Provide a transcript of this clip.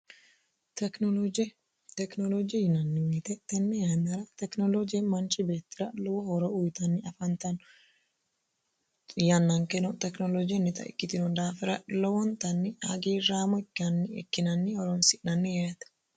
Tekinolooje tekinolooje yinanni woyte tenni yainnara tekinoloje manchi beettira lowo hooro uyitanni afantanno yannankeno tekinolojinnita ikkitino daafira lowontanni hagiirraamo ikkinanni horonsi'nanni yeete